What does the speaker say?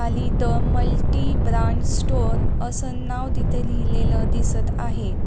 The multi band store असे नाव तिथे लिहिलेलं दिसत आहे.